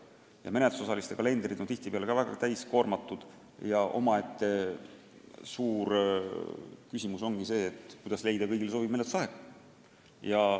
Ja menetlusosaliste kalendrid on tihtipeale väga täis, nii et omaette suur küsimus ongi, kuidas leida kõigile sobiv menetlusaeg.